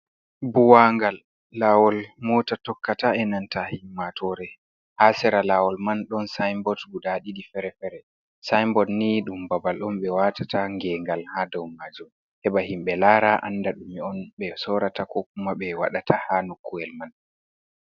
Buwangal laawol moota tokkata e nanta himmatoore , haa sera laawol man , ɗon sayinbod guda ɗiɗi fere-fere . Sayinbod ni ɗum babal on , ɓe watata geengal haa dow maajum , heɓa himɓe laara annda ɗume on ɓe sorata , ko kuma ɓe waɗata haa nokkuyel man.